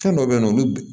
Fɛn dɔw bɛ yen nɔ olu